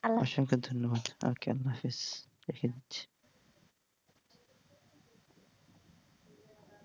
অসংখ্য ধন্যবাদ